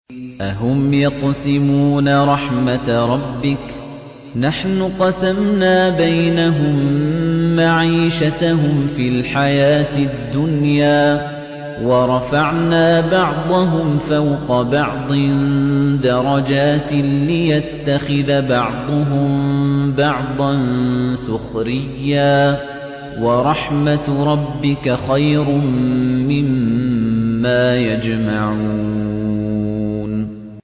أَهُمْ يَقْسِمُونَ رَحْمَتَ رَبِّكَ ۚ نَحْنُ قَسَمْنَا بَيْنَهُم مَّعِيشَتَهُمْ فِي الْحَيَاةِ الدُّنْيَا ۚ وَرَفَعْنَا بَعْضَهُمْ فَوْقَ بَعْضٍ دَرَجَاتٍ لِّيَتَّخِذَ بَعْضُهُم بَعْضًا سُخْرِيًّا ۗ وَرَحْمَتُ رَبِّكَ خَيْرٌ مِّمَّا يَجْمَعُونَ